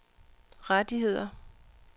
rettigheder